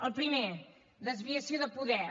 el primer desviació de poder